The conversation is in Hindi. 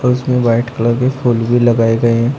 इसमें वाइट कलर के फूल भी लगाए गए हैं।